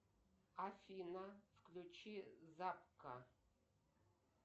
афина включи закка